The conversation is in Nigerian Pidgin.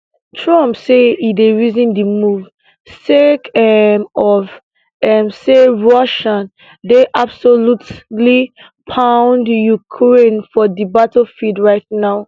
trump say e dey reason di move sake um of um say russia dey absolutely pound ukraine for di battlefield right now